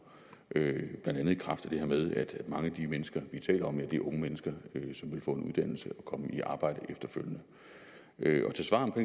ned blandt andet i kraft af det her med at mange af de mennesker vi taler om er er unge mennesker som vil få en uddannelse og komme i arbejde efterfølgende